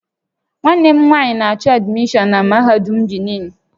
Nwanne m nwanyị na-achọ admishọn na Mahadum Benin